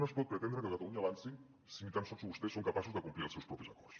no es pot preten·dre que catalunya avanci si ni tan sols vostès són capaços de complir els seus propis acords